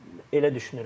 Elə düşünürəm.